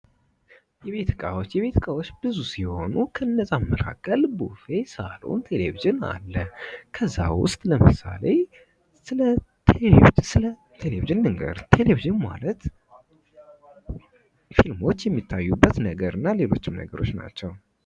የቤት እቃዎች የቤት እቃዎቸ ብዙ ሲሆኑ ከነዚያም መካከል ቡፌ፣ ሳሎን ፣ቴሌቭዥን አለ። ከዛ ውስጥ ለምሳሌ ስለ ቴሌቪዥን ልንገርህ ቴሌቭዥን ማለት ሰዎች የሚታዩበትና ሌሎችም ነገሮች ናቸው።